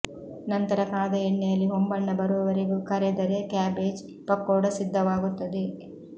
ನಂತರ ಕಾದ ಎಣ್ಣೆಯಲ್ಲಿ ಹೊಂಬಣ್ಣ ಬರುವವರೆಗೂ ಕರೆದರೆ ಕ್ಯಾಬೇಜ್ ಪಕೋಡ ಸಿದ್ಧವಾಗುತ್ತದೆ